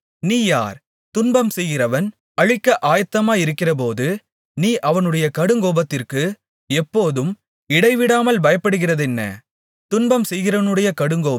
துன்பம் செய்கிறவன் அழிக்க ஆயத்தமாகிறபோது நீ அவனுடைய கடுங்கோபத்திற்கு எப்போதும் இடைவிடாமல் பயப்படுகிறதென்ன துன்பம் செய்கிறவனுடைய கடுங்கோபம் எங்கே